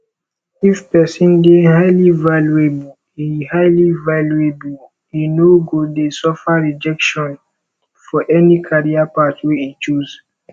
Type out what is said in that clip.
if person de highly valuable e highly valuable e no go de suffer rejection for any career path wey e choose